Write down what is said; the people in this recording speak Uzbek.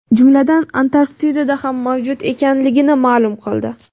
jumladan Antarktidada ham mavjud ekanligini ma’lum qildi.